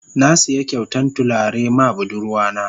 Na siya kyautan tulare ma budurwa na.